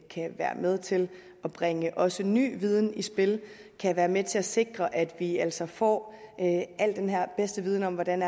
kan være med til at bringe også ny viden i spil kan være med til at sikre at vi altså får al den her bedste viden om hvordan